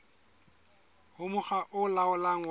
ho mokga o laolang wa